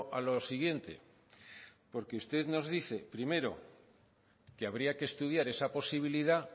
a lo siguiente porque usted nos dice primero que habría que estudiar esa posibilidad